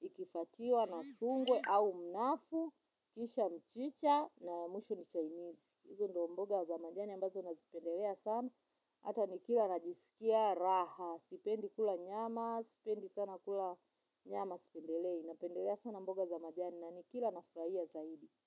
ikifuatiwa na sungwe au mnafu, kisha mchicha na mwisho ni chainizi. Hizo ndio mboga za majani ambazo nazipendelea sana, hata nikila najisikia raha, sipendi kula nyama, sipendi sana kula nyama, sipendelei, napendelea sana mboga za majani na nikila nafurahia zaidi.